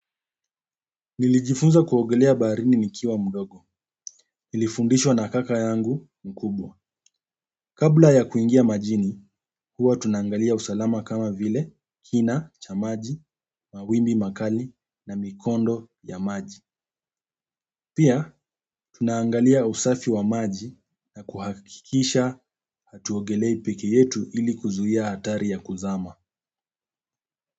Nilijifunza kuogelea baharini nikiwa mdogo. Nilifundishwa na kaka yangu mkubwa. Kabla ya kuingia majini, huwa tunaangalia usalama kama vile kina cha maji, mawimbi makali na mikondo ya maji. Pia, tunaangalia usafi wa maji na kuhakikisha hatuogelei pekee yetu ili kuzuia hatari ya kuzama.